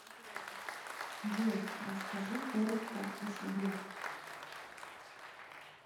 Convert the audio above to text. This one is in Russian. джой расскажи коротко о себе